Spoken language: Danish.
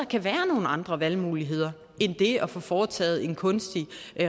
kan være nogle andre valgmuligheder end det at få foretaget en kunstig